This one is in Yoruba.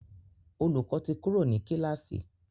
Olùkó tí Kúrò ní kilasi.